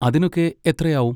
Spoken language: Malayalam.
അതിനൊക്കെ എത്രയാവും?